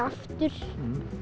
aftur